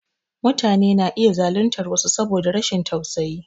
Mutane na iya zaluntar wasu saboda rashin tausayi.